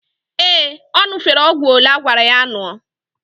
Ee, ọ ñụ̀fere ọgwụ olee agwara ya ñụọ.